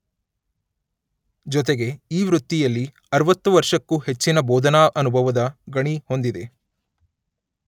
ಜೊತೆಗೆ ಈ ವೃತ್ತಿಯಲ್ಲಿ ಅರುವತ್ತು ವರ್ಷಕ್ಕೂ ಹೆಚ್ಚಿನ ಬೋಧನಾ ಅನುಭವದ ಗಣಿ ಹೊಂದಿದೆ.